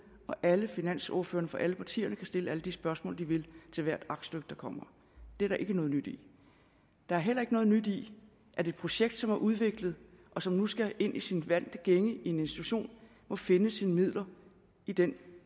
og alle finansordførerne for alle partierne kan stille alle de spørgsmål de vil til hvert aktstykke der kommer det er der ikke noget nyt i der er heller ikke noget nyt i at et projekt som er udviklet og som nu skal ind i sin vante gænge i en institution må finde sine midler i den